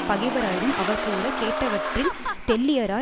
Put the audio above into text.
பகைவராயினும் அவர் கூற கேட்டவற்றில் தெள்ளியராய்